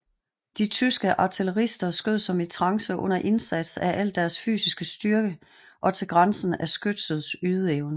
De tyske artillerister skød som i trance under indsats af al deres fysiske styrke og til grænsen af skytsets ydeevne